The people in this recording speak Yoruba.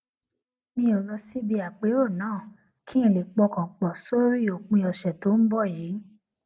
mi ò lọ síbi àpérò náà kí n lè pọkàn pò sórí òpin ọsẹ tó ń bò yìí